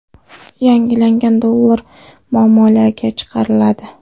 Yangilangan dollar muomalaga chiqariladi.